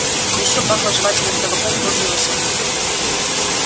ещё пахло жевательным табаком кожей и лошадьми